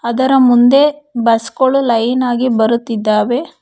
ಅದರ ಮುಂದೆ ಬಸ್ ಗಳು ಲೈನ್ ಆಗಿ ಬರುತ್ತಿದ್ದಾವೆ.